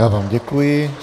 Já vám děkuji.